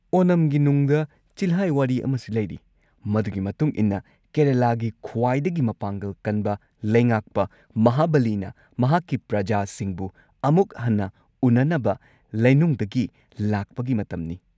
ꯑꯣꯅꯝꯒꯤ ꯅꯨꯡꯗ ꯆꯤꯜꯍꯥꯏ ꯋꯥꯔꯤ ꯑꯃꯁꯨ ꯂꯩꯔꯤ, ꯃꯗꯨꯒꯤ ꯃꯇꯨꯡ ꯏꯟꯅ ꯀꯦꯔꯂꯥꯒꯤ ꯈ꯭ꯋꯥꯏꯗꯒꯤ ꯃꯄꯥꯡꯒꯜ ꯀꯟꯕ ꯂꯩꯉꯥꯛꯄ ꯃꯍꯥꯕꯂꯤꯅ ꯃꯍꯥꯛꯀꯤ ꯄ꯭ꯔꯖꯥꯁꯤꯡꯕꯨ ꯑꯃꯨꯛ ꯍꯟꯅ ꯎꯅꯅꯕ ꯂꯩꯅꯨꯡꯗꯒꯤ ꯂꯥꯛꯄꯒꯤ ꯃꯇꯝꯅꯤ ꯫